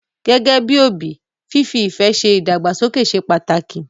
Gẹ́gẹ́ bí òbí, fífi ìfẹ́ ṣe ìdàgbàsókè ṣe pàtàkì.